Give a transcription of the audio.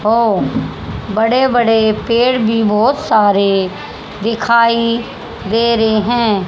और बड़े बड़े पेड़ भी बहुत सारे दिखाई दे रहे हैं।